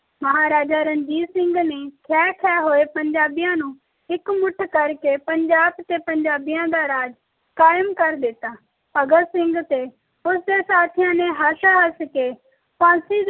ਮਹਾਰਾਜਾ ਰਣਜੀਤ ਸਿੰਘ ਨੇ ਖੇਹ ਖੇਹ ਹੋਏ ਪੰਜਾਬੀਆਂ ਨੂੰ ਇਕਮੁੱਠ ਕਰਕੇ ਪੰਜਾਬ ਤੇ ਪੰਜਾਬੀਆਂ ਦਾ ਰਾਜ ਕਾਇਮ ਕਰ ਦਿੱਤਾ ਭਗਤ ਸਿੰਘ ਤੇ ਉਸ ਦੇ ਸਾਥੀਆਂ ਨੇ ਹਸ ਹਸ ਕੇ ਫਾਂਸੀ